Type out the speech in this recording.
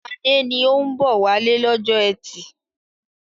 Adé ni ó ń bọ̀ wálé lọ́jọ́ ẹtì.